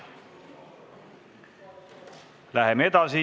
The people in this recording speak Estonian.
Läheme edasi.